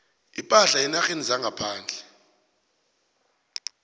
ipahla eenarheni zangaphandle